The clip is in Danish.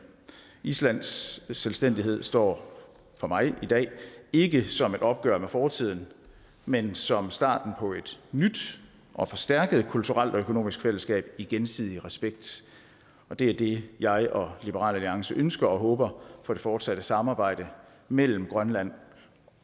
islands selvstændighed står for mig i dag ikke som et opgør med fortiden men som starten på et nyt og forstærket kulturelt og økonomisk fællesskab i gensidig respekt det er det jeg og liberal alliance ønsker og håber for det fortsatte samarbejde mellem grønland